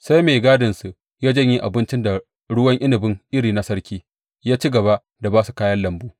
Sai mai gadinsu ya janye abinci da ruwan inabi irin na sarki, ya ci gaba da ba su kayan lambu.